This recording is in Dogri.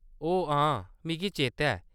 ओह्‌‌ हां। मिगी चेता ऐ।